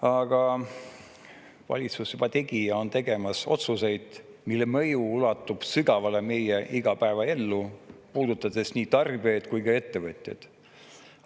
Aga valitsus tegi ja on tegemas otsuseid, mille mõju ulatub sügavale meie igapäevaellu, puudutades nii tarbijaid kui ka ettevõtjaid.